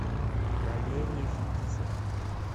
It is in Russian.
валерий фетисов